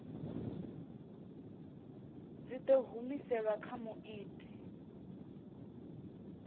dzi ḓo humiselwa kha muiti